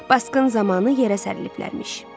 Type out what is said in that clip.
Baskın zamanı yerə sərilmişdilərmiş.